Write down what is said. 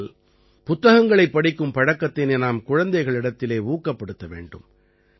ஆகையால் புத்தகங்களைப் படிக்கும் பழக்கத்தினை நாம் குழந்தைகளிடத்திலே ஊக்கப்படுத்த வேண்டும்